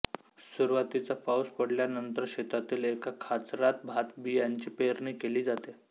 सुरुवातीचा पाऊस पडल्यानंतर शेतातील एका खाचरात भातबियांची पेरणी केली जाते